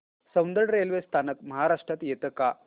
Soundad railway स्थानक महाराष्ट्रात येतं का